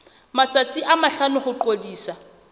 matsatsi a mahlano ho ngodisa